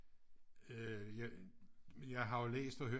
Øh jeg har jo læst og hørt